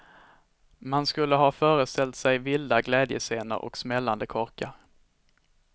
Man skulle ha föreställt sig vilda glädjescener och smällande korkar.